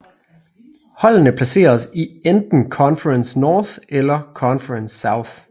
Holdene placeres i enten Conference North eller Conference South